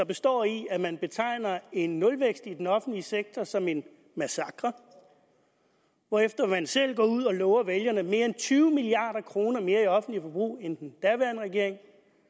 består i at man betegner er en nulvækst i den offentlige sektor som en massakre hvorefter man selv går ud og lover vælgerne mere end tyve milliard kroner mere i offentligt forbrug end den daværende regering